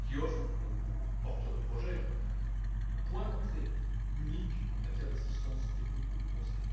qui offre aux porteurs de projets un point d'entrée unique en matière d'assistance technique ou de conseil.